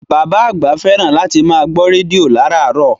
Bàbá àgbà fẹ́ràn láti máa gbọ́ rédíò láràárọ̀